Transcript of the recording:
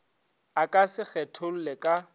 a ka se kgetholle ka